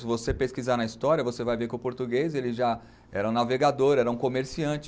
Se você pesquisar na história, você vai ver que o português, ele já era um navegador, era um comerciante.